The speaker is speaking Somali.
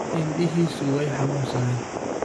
Indhihiisu way xanuunsadeen